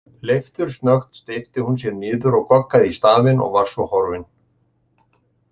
Leiftursnöggt steypti hún sér niður og goggaði í stafinn og var svo horfin.